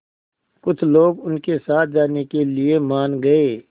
कुछ लोग उनके साथ जाने के लिए मान गए